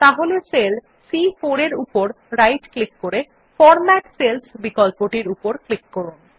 তাহলে সেল সি4 এর উপর রাইট ক্লিক করে ফরম্যাট সেলস বিকল্পটির উপর ক্লিক করুন